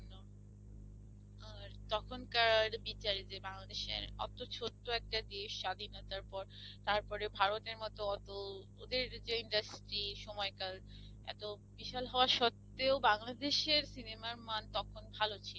আর তখনকার বিচারে যে বাংলাদেশের তো একটা দেশ স্বাধীন হবার পর তারপর ভারতের মত অত, ওদের যে industry সময়কাল এত বিশাল হওয়া স্বত্তেও বাংলাদেশের cinema র মান তখন ভালো ছিল।